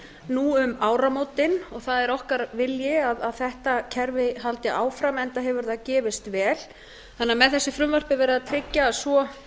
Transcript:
nú um áramótin og það er okkar vilji að þetta kerfi haldi áfram enda hefur það gefist vel með þessu frumvarpi er verið að tryggja að svo